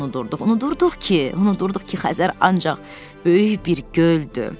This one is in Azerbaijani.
unudurduq ki, unudurduq ki, Xəzər ancaq böyük bir göldü.